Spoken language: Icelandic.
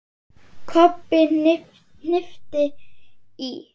Kobbi hnippti í